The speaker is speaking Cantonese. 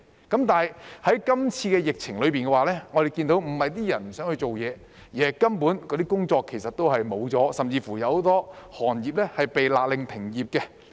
但是，在今次的疫情下，我們看到，不是他們不想工作，而是那些工作根本是消失了，甚至有很多行業被勒令停業。